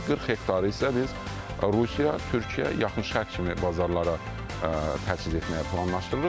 40 hektarı isə biz Rusiya, Türkiyə, Yaxın Şərq kimi bazarlara təhvil etməyi planlaşdırırıq.